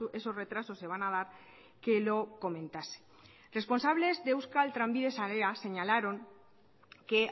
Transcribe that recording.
esos retrasos se van a dar que lo comentase responsables de euskal trenbide sarea señalaron que